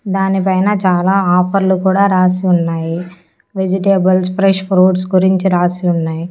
దానిపైన చాలా ఆఫర్లు కూడా రాసి ఉన్నాయి వెజిటేబుల్స్ ఫ్రెష్ ఫ్రూట్స్ గురించి రాసి ఉన్నాయి.